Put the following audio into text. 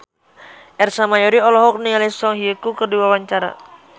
Ersa Mayori olohok ningali Song Hye Kyo keur diwawancara